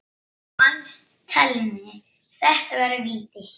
Fannst Thelmu þetta vera víti?